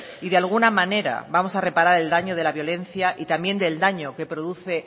y de alguna manera vamos a reparar el daño de la violencia y también del daño que produce